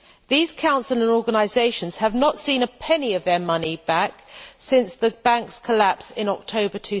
These councils and organisations have not seen a penny of their money back since the Bank's collapse in October